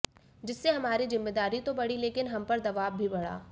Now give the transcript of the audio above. जिससे हमारी जिम्मेदारी तो बढ़ी लेकिन हम पर दबाव भी बढ़ा